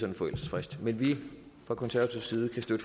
en forældelsesfrist men fra konservativ side kan